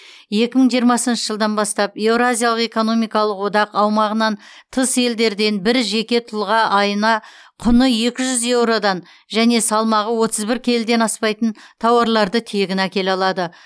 екі мың жиырмасыншы жылдан бастап еуразиялық экономикалық одақ аумағынан тыс елдерден бір жеке тұлға айына құны екі жүз еуродан және салмағы отыз бір келіден аспайтын тауарларды тегін әкеле алады